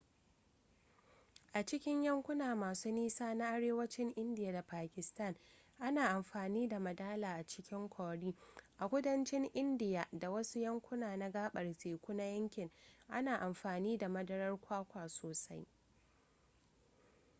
a cikin yankuna masu nisa na arewacin indiya da pakistan ana amfani da madala a cikin curry a kudancin indiya da wasu yankuna na gabar teku na yankin ana amfani da madarar kwakwa sosai